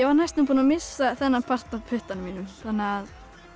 var næstum búin að missa þennan part af puttanum þannig að